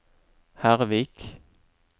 Hervik